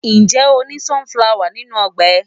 Ǹjẹ́ o ní sunflower nínú ọgbà rẹ̀?